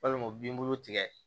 Walima u bin bulu tigɛ